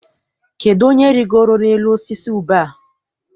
Kedụ onye rigoro n'elu osisi ube a?